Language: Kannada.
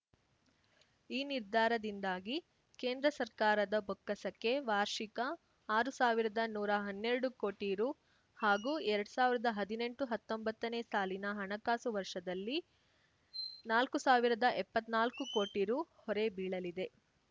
ಈ ನಿರ್ಧಾರದಿಂದಾಗಿ ಕೇಂದ್ರ ಸರ್ಕಾರದ ಬೊಕ್ಕಸಕ್ಕೆ ವಾರ್ಷಿಕ ಆರು ಸಾವಿರದನೂರಾ ಹನ್ನೆರಡು ಕೋಟಿ ರು ಹಾಗೂ ಎರಡ್ ಸಾವಿರ್ದಾ ಹದಿನೆಂಟುಹತ್ತೊಂಬತ್ತನೇ ಸಾಲಿನ ಹಣಕಾಸು ವರ್ಷದಲ್ಲಿ ನಾಲ್ಕುಸಾವಿರದಾಎಪ್ಪತ್ನಾಲ್ಕು ಕೋಟಿ ರು ಹೊರೆ ಬೀಳಲಿದೆ